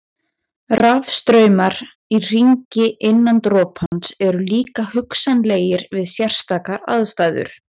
Rafstraumar í hringi innan dropans eru líka hugsanlegir við sérstakar aðstæður.